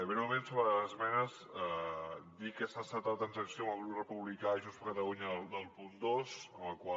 breument sobre les esmenes dir que s’ha acceptat la transacció amb el grup republicà i junts per catalunya del punt dos en el qual